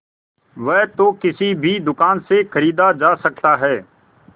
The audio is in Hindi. वह तो किसी भी दुकान से खरीदा जा सकता है